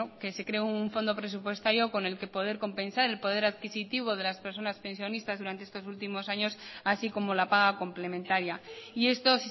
se cree un fondo presupuestario con el que poder compensar el poder adquisitivo de las personas pensionistas durante estos últimos años así como la paga complementaria y esto